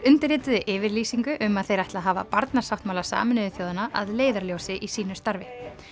undirrituðu yfirlýsingu um að þeir ætli að hafa barnasáttmála Sameinuðu þjóðanna að leiðarljósi í sínu starfi